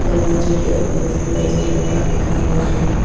दरवाजे के ऊपर फीमेल जनरल वार्ड लिखा हुआ है।